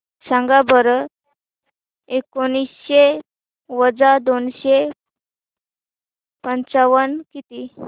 सांगा बरं एकोणीसशे वजा दोनशे पंचावन्न किती